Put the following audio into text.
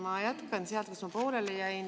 Ma jätkan sealt, kus ma pooleli jäin.